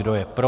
Kdo je pro?